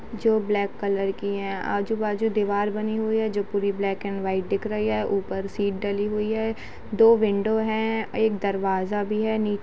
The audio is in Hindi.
जो ब्लैक कलर की है। आजु बाजु दीवार बनी हुई है जो पूरी ब्लैक एंड व्हाइट दिख रही है। ऊपर सीट डली हुई है। दो विंडो है एक दरवाजा भी है नी --